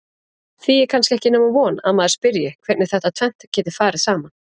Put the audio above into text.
Því er kannski ekki nema von að maður spyrji hvernig þetta tvennt geti farið saman?